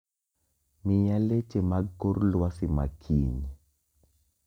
Miya leche mag kor lwasi makiny